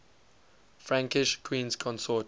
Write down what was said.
frankish queens consort